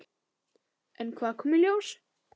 En hvað kom í ljós?